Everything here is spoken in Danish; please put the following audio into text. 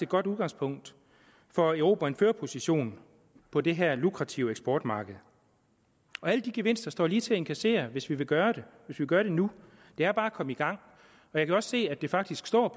godt udgangspunkt for at erobre en førerposition på det her lukrative eksportmarked alle de gevinster er lige til at indkassere hvis vi vil gøre gøre det nu det er bare at komme i gang jeg kan også se at det faktisk står